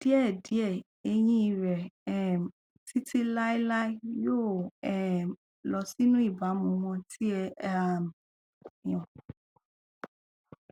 díẹdíẹ eyín rẹ um títí láéláé yóò um lọ sínú ìbámu wọn tí a um yàn